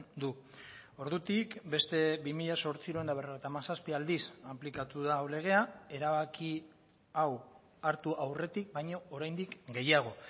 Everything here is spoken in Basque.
du ordutik beste bi mila zortziehun eta berrogeita hamazazpi aldiz aplikatu da hau legea erabaki hau hartu aurretik baino oraindik gehiago